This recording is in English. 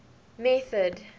method